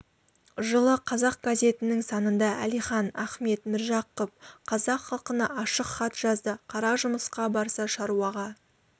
жылы қазақ газетінің санында әлихан ахмет міржақып қазақ халқына ашық хат жазды қара жұмысқа барса шаруаға